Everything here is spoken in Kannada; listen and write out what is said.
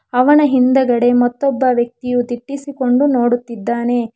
ಅವನ ಹಿಂದಗಡೆ ಮತ್ತೊಬ್ಬ ವ್ಯಕ್ತಿಯು ದಿಟ್ಟಿಸಿಕೊಂಡು ನೋಡುತ್ತಿದ್ದಾನೆ.